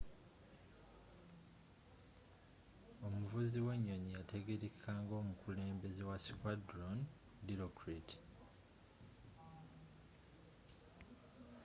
omuvuzi wenyonyi yategerekeka nga omukulembeze wa squadron dilokrit